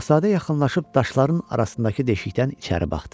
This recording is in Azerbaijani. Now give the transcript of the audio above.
Şahzadə yaxınlaşıb daşların arasındakı deşikdən içəri baxdı.